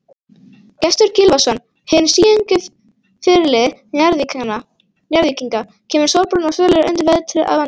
Gestur Gylfason, hinn síungi fyrirliði Njarðvíkinga, kemur sólbrúnn og sællegur undan vetri að vanda.